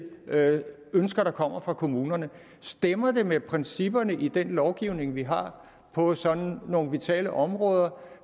ønsker der kommer fra kommunerne stemmer de med principperne i den lovgivning vi har på sådan nogle vitale områder